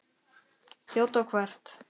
Þjóta hvert?